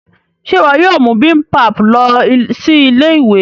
Ṣe iwọ yóò mú bibimpap lọ sí Ilé-ìwé?